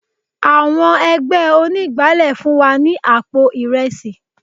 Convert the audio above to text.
Àwọn ẹgbẹ́ onígbálé fún wa ní àpò Ìrẹsì.